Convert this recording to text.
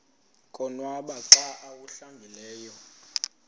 konwaba xa awuhlambileyo